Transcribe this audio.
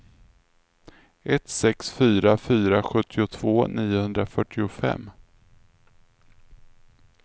ett sex fyra fyra sjuttiotvå niohundrafyrtiofem